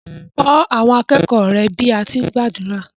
Kọ́ àwọn akẹ́kọ̀ọ́ rẹ bí à á ti gbàdúrà.